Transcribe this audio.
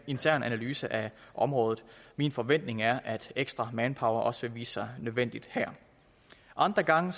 intern analyse af området min forventning er at ekstra manpower også vil vise sig nødvendigt her andre gange